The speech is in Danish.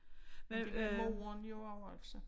Men det var moren jo også altså